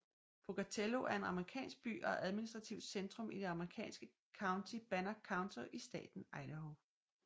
Pocatello er en amerikansk by og admistrativt centrum i det amerikanske county Bannock County i staten Idaho